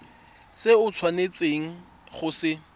se o tshwanetseng go se